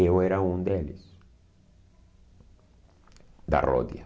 Eu era um deles, da Rodia.